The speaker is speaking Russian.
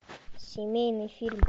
семейный фильм